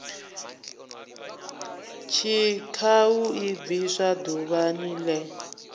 tshikhau i bviswa ḓuvha ḽene